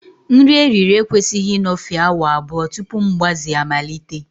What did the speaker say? Nri eriri eri ekwesịghị ịnọfe awa abụọ tupu mgbaze amalite